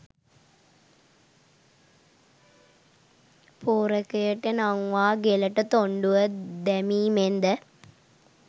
පෝරකයට නංවා ගෙලට තොණ්ඩුව දැමීමෙන්ද